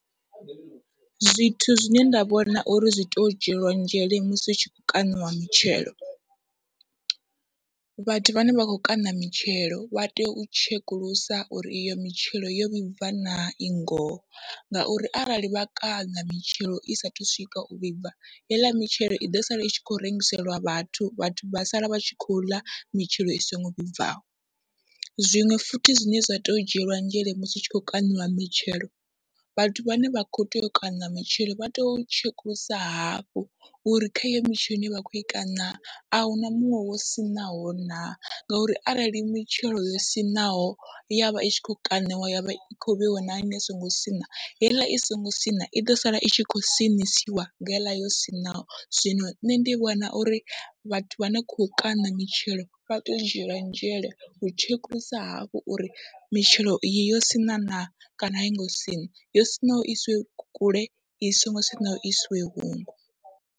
Zwithu zwine nda vhona uri zwi tea u dzhielwa nzhele musi hu tshi khou kaṋiwa mitshelo, vhathu vhane vha khou kaṋa mitshelo vha tea u tshekulusa uri iyo mitshelo yo vhibva na i ngoho, ngauri arali vha kaṋa mitshelo i saathu u swika u vhibva heiḽa mitshelo iḓo sala itshi khou rengiselwa vhathu, vhathu vha sala vha tshi khou ḽa mitshelo i songo vhibvaho. Zwiṅwe futhi zwine zwa tea u dzhielwa nzhele musi hu tshi khou kaṋiwa mitshelo, vhathu vhane vha kho tea u kaṋa matshelo vha to tshekulusa hafhu uri kha iyo mitshelo ine vha khou i kaṋa ahuna muṅwe wo siṋaho na, ngauri arali mitshelo yo siṋaho yavha i tshi kho kaṋiwa yavha i kho vheiwa na ine i songo siṋa, heiḽa i songo siṋa iḓo sala itshi khou siṋisiwa nga heiḽa yo siṋaho. Zwino nṋe ndi vhona uri vhathu vhane kho kaṋa mitshelo vha teyo u dzhielwa nzhele u tshekulusa hafhu uri mitshelo iyi yo siṋaho na, kana aingo siṋa yo siṋaho iswe kule i songo siaho isiwe huṅwe.